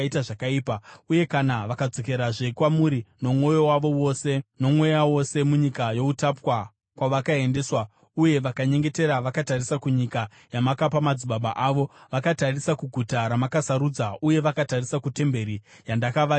uye kana vakadzokerazve kwamuri nomwoyo wavo wose, nomweya wose munyika youtapwa kwavakaendeswa, uye vakanyengetera vakatarisa kunyika yamakapa madzibaba avo, vakatarisa kuguta ramakasarudza uye vakatarisa kutemberi yandakavakira Zita renyu;